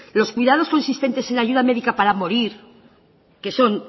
los cuidados consistentes en ayuda médica para morir que son